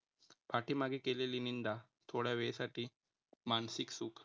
पाठीमागे केलेली निंदा थोडा वेळसाठी मानसिक सुख